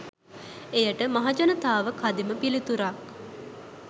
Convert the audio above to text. එයට මහජනතාව කදිම පිළිතුරක්